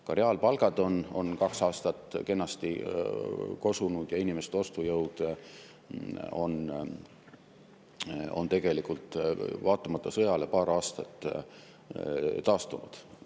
Ka reaalpalgad on kaks aastat kenasti kosunud ja inimeste ostujõud on tegelikult vaatamata sõjale paari aasta jooksul taastunud.